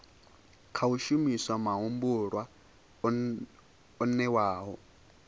khou shumiswa mahumbulwa o newaho